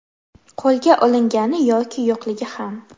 Qo‘lga olingani yoki yo‘qligi ham.